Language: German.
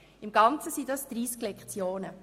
Im Ganzen sind dies 30 Lektionen.